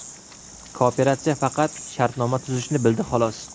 Kooperatsiya faqat shartnoma tuzishni bildi xolos.